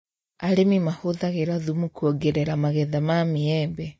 Arĩmi mahũthagĩra thumu kuongerera magetha ma mĩembe